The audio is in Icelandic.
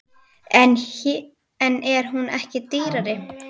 En er hún ekki dýrari?